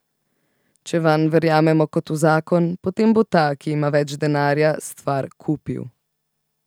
Če vanj verjamemo kot v zakon, potem bo ta, ki ima več denarja, stvar kupil.